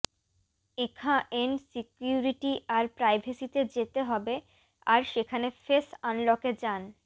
এখাএন security আর প্রাইভেসিতে যেতে হবে আর সেখানে ফেস আনলকে যান